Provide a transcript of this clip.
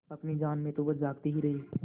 अपनी जान में तो वह जागते ही रहे